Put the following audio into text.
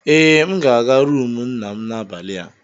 Ee, M ga-aga rumụ nna m n'abalị a.